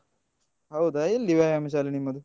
ಹೌದಾ? ಎಲ್ಲಿ ವ್ಯಾಯಾಮ ಶಾಲೆ ನಿಮ್ಮದು?